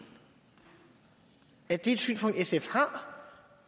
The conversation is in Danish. er det et synspunkt sf har